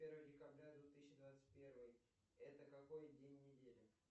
первое декабря две тысячи двадцать первый это какой день недели